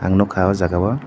ang nogka o jaga o.